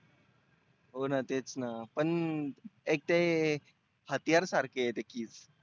होना तेचना पण एक ते हत्यार सारखे आहे ते keys